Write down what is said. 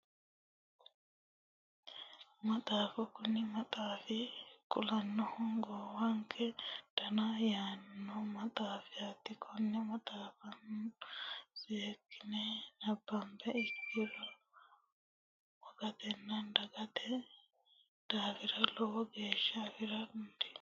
Maxaafa kuni maxaafi kulannohu wogannke dona yaanno maxaafaati konne maxaafa seekkine nabbambiha ikkiro wogatenna donnate daafira lowo egenno afira dandiineemmo